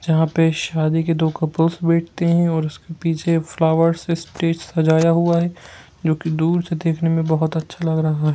जहां पे शादी के दो कपल्स बैठते हैं और उसके पीछे फ्लावर्स से स्टेज सजाया हुआ हैं जो की दूर से देखने मे बहुत अच्छा लग रहा हैं।